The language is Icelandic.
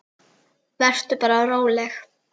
Vertu bara róleg.